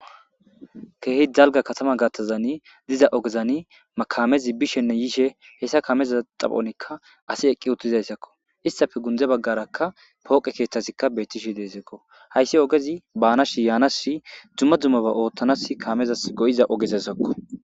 Keehi jalga katama gaththazani diza ogezani makamezi bishenne yiishe hessa kaameza xaphonikka asi eqqi uttizayssakko issafe gundze baggarakka pooqe keeththasikka beettishi deesekko hayssi ogezi baanashi yaanasi dzumma dzummaba ooththanas kaamezas go7iza ogezasakko